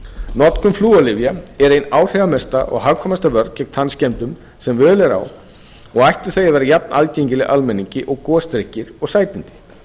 notkun flúorlyfja er ein áhrifamesta og hagkvæmasta vörn gegn tannskemmdum sem völ er á og ættu þau að vera jafnaðgengileg almenningi og gosdrykkir og sætindi